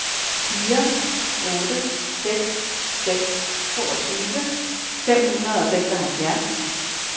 fire otte seks seks toogtyve fem hundrede og seksoghalvfjerds